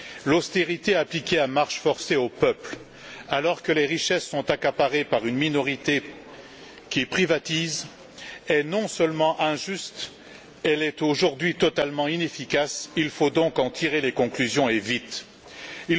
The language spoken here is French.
L'austérité appliquée à marche forcée aux peuples, alors que les richesses sont accaparées par une minorité qui privatise, est non seulement injuste mais elle est, aujourd'hui, totalement inefficace. Il faut donc en tirer les conclusions, et ce, au plus vite.